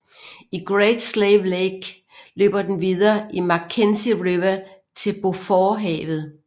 I Great Slave Lake løber den videre i Mackenzie River til Beauforthavet